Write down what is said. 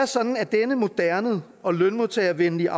sådan at denne moderne og lønmodtagervenlige